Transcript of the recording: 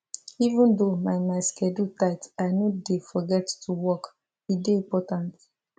even though my my schedule tight i no dey forget to walk e dey important